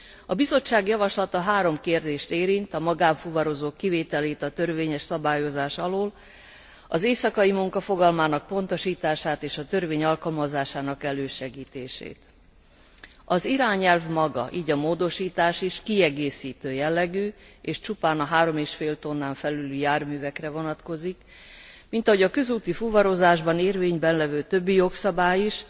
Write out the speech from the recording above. A Bizottság javaslata három kérdést érint, a magánfuvarozók kivételét a törvényes szabályozás alól, az éjszakai munka fogalmának pontosítását és a törvény alkalmazásának elősegítését. Az irányelv maga, így a módosítás is kiegészítő jellegű és csupán a 3 és fél tonnán felüli járművekre vonatkozik, mint ahogy a közúti fuvarozásban érvényben levő többi jogszabály is,